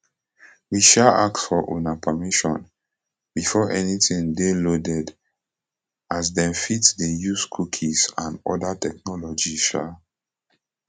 we um ask for una permission before anytin dey loaded as dem fit dey use cookies and oda technologies um